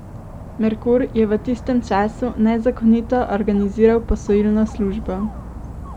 Merkur je v tistem času nezakonito organiziral posojilno službo.